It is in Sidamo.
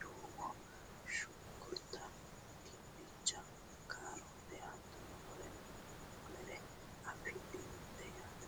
duumo shunkurta, dinnicha, kaarote, hattono wolere anfannite yaate